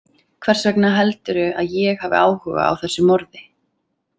Hvers vegna heldurðu að ég hafi áhuga á þessu morði?